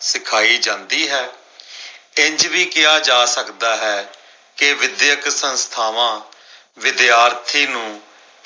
ਸਿਖਾਈ ਜਾਂਦੀ ਹੈ। ਇੰਝ ਵੀ ਕਿਹਾ ਜਾ ਸਕਦਾ ਹੈ ਕੇ ਵਿਦਿਅਕ ਸੰਸਥਾਵਾਂ ਵਿਦਿਆਰਥੀ ਨੂੰ